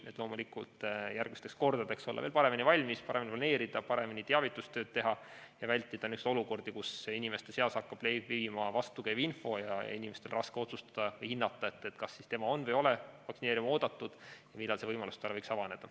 Seda loomulikult selleks, et järgmisteks kordadeks olla veel paremini valmis, paremini planeerida, paremini teavitustööd teha ning vältida näiteks selliseid olukordi, kus inimeste seas hakkab levima vastukäiv info ja inimesel on raske otsustada või hinnata, kas ta siis on või ei ole vaktsineerima oodatud ja millal see võimalus tal võiks avaneda.